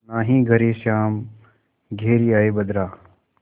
नाहीं घरे श्याम घेरि आये बदरा